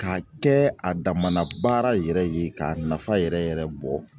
Ka kɛ a dama na baara yɛrɛ ye k'a nafa yɛrɛ yɛrɛ yɛrɛ bɔ